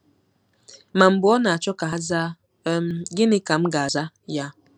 Ma mb͕e ọ nāchọ ka ha zaa, um gini ka m'gāza ya?